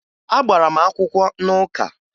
Agbara m akwụkwọ n'ụka